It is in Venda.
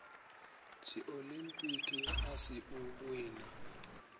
dziolimpiki a si u wina